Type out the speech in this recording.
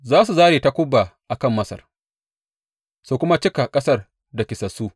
Za su zāre takuba a kan Masar su kuma cika ƙasar da kisassu.